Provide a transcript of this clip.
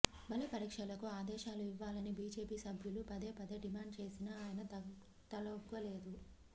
బలపరీక్షలకు ఆదేశాలు ఇవ్వాలని బీజేపీ సభ్యులు పదేపదే డిమాండ్ చేసినా ఆయన తలొగ్గలేదు